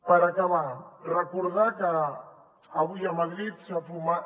per acabar recordar que avui a madrid s’ha fumat